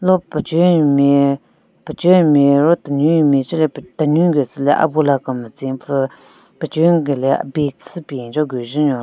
lo pechenyu nme pechenyu nme ro tenunyu nme che le pe tenunyu gu tsüle abula kemetsen pvu pechenyu gule a bag syü pen cho gü jen nyon lo--